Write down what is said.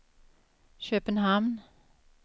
Köpenhamn